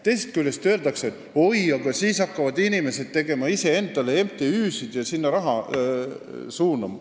Teisest küljest öeldakse, et oi, aga siis hakkavad inimesed iseendale MTÜ-sid tegema ja sinna raha suunama.